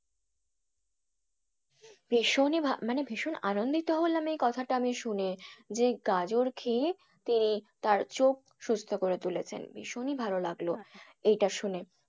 ভীষণই মানে ভীষণই আনন্দিত হলাম এই কথাটা আমি শুনে যে গাজর খেয়ে তার চোখ সুস্থ করে তুলেছেন ভীষণই ভালো লাগলো এটা শুনে।